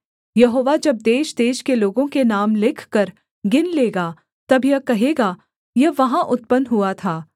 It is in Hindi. यहोवा जब देशदेश के लोगों के नाम लिखकर गिन लेगा तब यह कहेगा यह वहाँ उत्पन्न हुआ था सेला